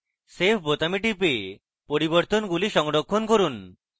save বোতামে টিপে পরিবর্তনগুলি সংরক্ষণ করুন